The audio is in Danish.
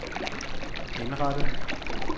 indrettet